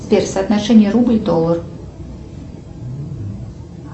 сбер соотношение рубль доллар